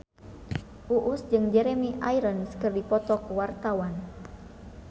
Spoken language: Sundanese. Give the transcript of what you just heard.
Uus jeung Jeremy Irons keur dipoto ku wartawan